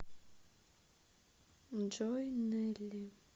джой нелли